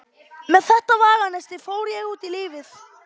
Með þetta veganesti fór ég út í lífið.